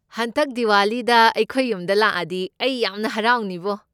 ꯍꯟꯗꯛ ꯗꯤꯋꯥꯂꯤꯗ ꯑꯩꯈꯣꯏ ꯌꯨꯝꯗ ꯂꯥꯛꯑꯗꯤ ꯑꯩ ꯌꯥꯝꯅ ꯍꯥꯔꯥꯎꯅꯤꯕꯣ꯫